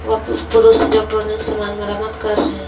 और पू पुरुष इलेक्ट्रॉनिक सामान मरम्मत कर रहे--